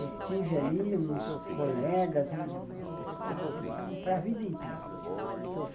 Eu tive ali uns colegas, umas pessoas que são para a vida inteira.